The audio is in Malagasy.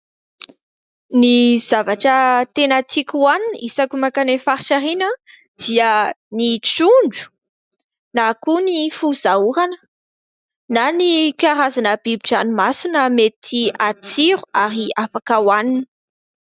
Ny zavatra tena tiako hohanina, isaky ny mankany amin'ny faritra ireny aho, dia ny trondro, na koa ny foza orana, na ny karazana bibin-dranomasina mety hatsiro, ary afaka hohanina.